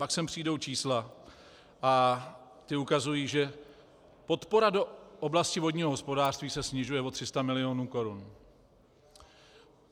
Pak sem přijdou čísla a ta ukazují, že podpora do oblasti vodního hospodářství se snižuje o 300 mil. korun.